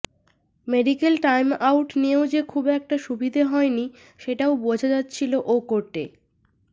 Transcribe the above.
medical time out নিয়েও যে খুব একটা সুবিধে হয়নি সেটাও বোঝা যাচ্ছিল ও কোর্টে